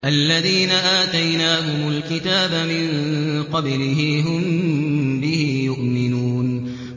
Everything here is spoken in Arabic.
الَّذِينَ آتَيْنَاهُمُ الْكِتَابَ مِن قَبْلِهِ هُم بِهِ يُؤْمِنُونَ